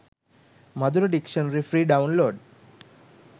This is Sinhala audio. madura dictionary free download